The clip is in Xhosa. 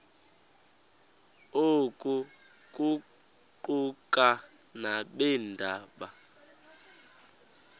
oku kuquka nabeendaba